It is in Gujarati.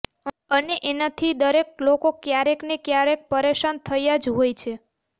અને એનાથી દરેક લોકો ક્યારેક ને ક્યારેક પરેશાન થયા જ હોય છે